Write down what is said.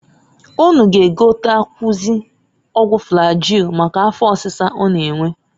Unu g'egotekwuazi ọgwụ flagil maka afọ ọsịsa ọ na-enwe.